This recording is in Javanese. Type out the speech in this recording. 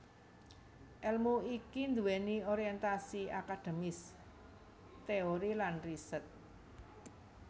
Èlmu iki nduwèni orientasi akademis teori lan riset